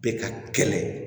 Bɛ ka kɛlɛ